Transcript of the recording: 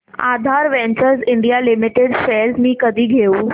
आधार ventures India limited shares मी कधी घेऊ